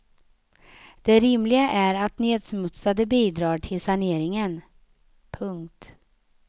Det rimliga är att nedsmutsarna bidrar till saneringen. punkt